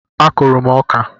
A kụrụ m ọka